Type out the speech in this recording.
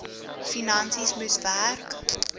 finansies moes werk